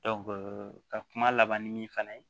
ka kuma laban min fana ye